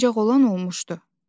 ancaq olan olmuşdu.